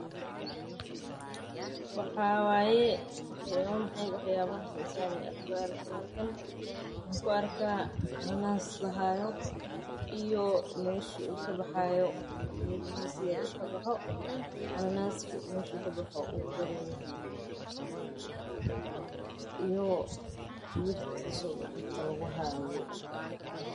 Wa maxay wax yaabaha xiisaha leh oo aad ku aragto halkan waxaan arkaa cananas la haayo meesha uu kabaxo iyo mirtiisa.